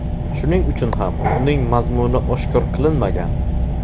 Shuning uchun ham uning mazmuni oshkor qilinmagan.